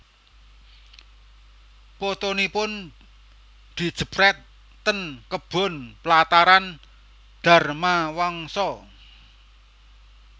Fotonipun dijepret ten kebon Plataran Dharmawangsa